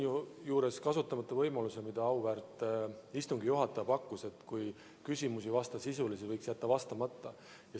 Ma jätan kasutamata võimaluse, mida auväärt istungi juhataja pakkus, et kui küsimus ei vasta teemale, siis võib sellele vastamata jätta.